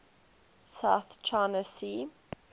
south china sea